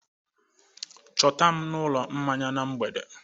Chọta m n'ụlọ mmanya na mgbede!